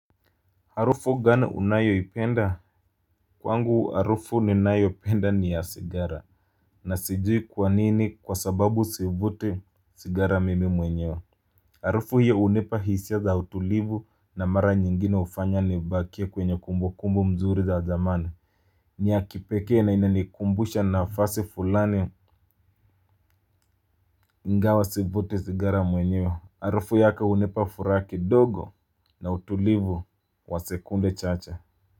Arufu gani unayoipenda kwangu arufu ninayopenda ni ya sigara. Na sijui kwa nini kwa sababu sivuti sigara mimi mwenyewe. Arufu hiyo hunipa hisia za utulivu na mara nyingine hufanya nibakie kwenye kumbukumbu nzuri za zamani. Ni ya kipekee na inanikumbusha nafasi fulani. Ingwa sivuti sigara mwenyewe arufu yake hunipa furaha kidogo na utulivu wa sekunde chacha.